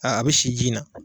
a bi si ji na